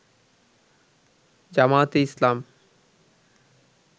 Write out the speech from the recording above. জামায়াতে ইসলাম